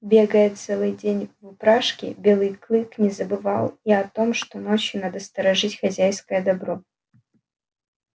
бегая целый день в упряжке белый клык не забывал и о том что ночью надо сторожить хозяйское добро